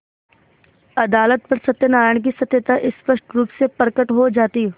अदालत पर सत्यनारायण की सत्यता स्पष्ट रुप से प्रकट हो जाती